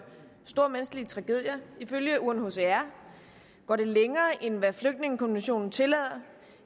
store menneskelige tragedier ifølge unhcr går det længere end hvad flygtningekonventionen tillader